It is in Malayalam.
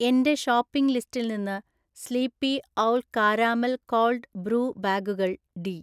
എന്‍റെഷോപ്പിംഗ് ലിസ്റ്റിൽ നിന്ന് sleepy owl caramel cold brew ബാഗുകൾ, ഡി.